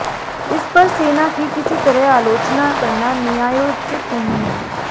इस पर सेना की किसी तरह आलोचना करना न्यायोचित नहीं है